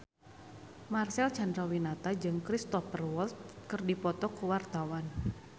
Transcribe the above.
Marcel Chandrawinata jeung Cristhoper Waltz keur dipoto ku wartawan